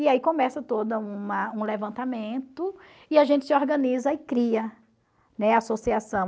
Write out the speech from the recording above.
E aí começa toda uma um levantamento e a gente se organiza e cria, né, a associação.